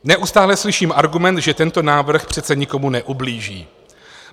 Neustále slyším argument, že tento návrh přece nikomu neublíží.